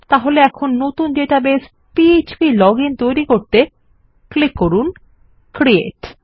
তাহলে এখন নতুন ডেটাবেস পিএচপি লজিন তৈরী করতে ক্লিক করুন ক্রিয়েট